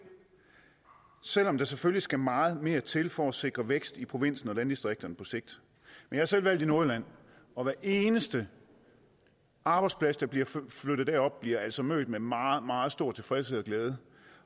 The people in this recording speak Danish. selv om der selvfølgelig skal meget mere til for at sikre vækst i provinsen og landdistrikterne på sigt jeg er selv valgt i nordjylland og hver eneste arbejdsplads der bliver flyttet derop bliver altså mødt med meget meget stor tilfredshed og glæde